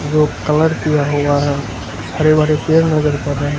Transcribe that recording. जो कलर किया हुआ है हरे भरे पेड़ नजर पड़ रहे हैं।